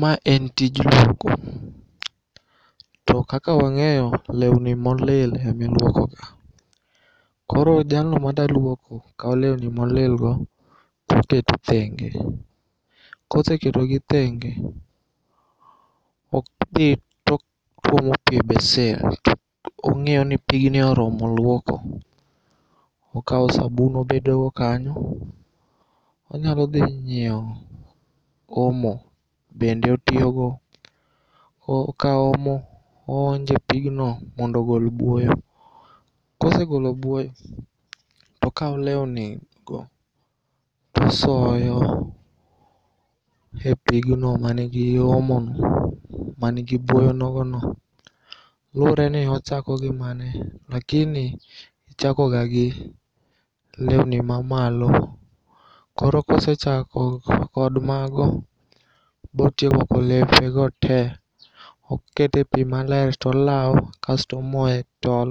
Ma en tij luoko. To kaka wang'eyo leuni molil emiluokoga. Koro jalno mada luoko kao leuni molilgo toketo thenge, Koseketogi thenge odhi totuomo pii e besen to ong'ioni pigni oromo luoko. Okao sabun obedogo kanyo, onyalodhi nyieo omo bende otiogo. Okao omo oonje pigno mondo ogol buoyo. Kosegolo buoyo tokao leuni go tosoyo e pigno manigi omono, manigi buoyo nogono. Luore ni ochako gi mane lakini ichakoga gi leuni mamalo. Koro kosechako kod mago botieko luoko lepego te okete pii maler tolao kasto omoe tol